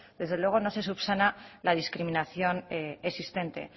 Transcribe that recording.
desde luego no se subsana la discriminación existente